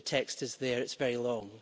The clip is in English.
The text is there, it's very long.